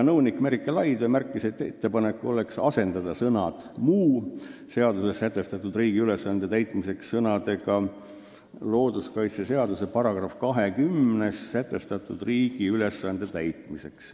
Nõunik Merike Laidvee märkis, et ettepanek on asendada sõnad "muu seaduses sätestatud riigi ülesande täitmiseks" sõnadega "looduskaitseseaduse §-s 20 sätestatud riigi ülesande täitmiseks".